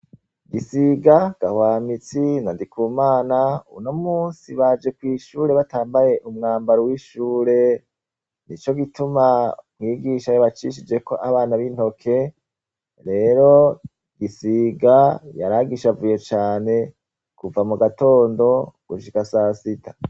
Gisiga gahwamitsi nandiku mana uno musi baje kw'ishure batambaye umwambaro w'ishure ni co gituma mwigisha yo bacishijeko abana b'intoke, rero gisiga yaragisha avuye cane kuva mu gatondo gushika sasita.